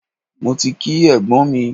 Mo ti kí ẹ̀gbọ́n mi.